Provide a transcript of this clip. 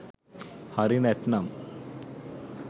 හරි නැත්නම්